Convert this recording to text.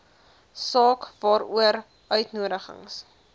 saak waaroor uitnodigings